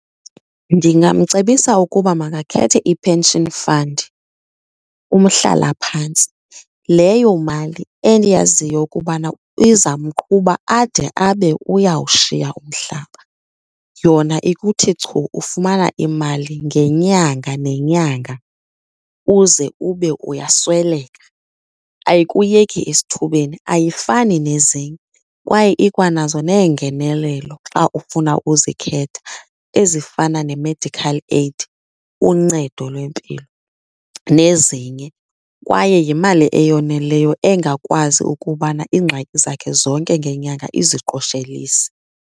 Ndingamcebisa ukuba makakhethe i-pension fund, umhlalaphantsi, leyo mali endiyaziyo ukubana izamqhuba ade abe uyawushiya umhlaba. Yona ikuthi chu, ufumana imali ngenyanga nenyanga uze ube uyasweleka. Ayikuyeki esithubeni, ayifani nezinye kwaye ikwanazo neengenelelo xa ufuna uzikhetha ezifana ne-medical aid, uncedo lwempilo, nezinye. Kwaye yimali eyoneleyo engakwazi ukubana iingxaki zakhe zonke ngenyanga iziqoshelise.